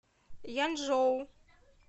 янчжоу